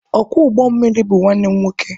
Ọkwọ ụgbọ mmiri bụ nwanne m nwoke.